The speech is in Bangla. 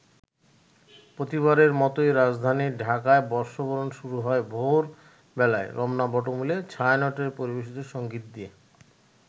প্রতিবারের মতোই রাজধানী ঢাকায় বর্ষবরণ শুরু হয় ভোর বেলায় রমনা বটমূলে ছায়ানটের পরিবেশিত সঙ্গীত দিয়ে।